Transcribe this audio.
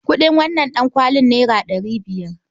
Kuɗin wannan ɗankwali naira ɗari biyar.